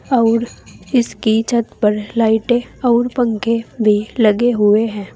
अउर इसकी छत पर लाइटें अउर पंखे भी लगे हुए हैं।